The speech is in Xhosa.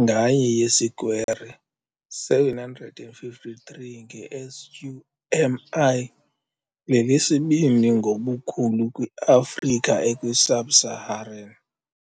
nganye yesikwere 753 nge sq mi lelesibini ngobukhulu kwi-Afrika ekwi-Sub-Saharan.